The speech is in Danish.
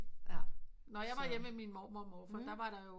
Når jeg var hjemme ved min mormor og morfar der var der jo